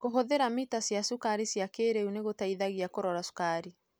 Kũhũthĩra mita cia cukari cia kĩrĩu nĩgũteithagia kũrora cukari.